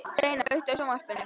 Sveina, kveiktu á sjónvarpinu.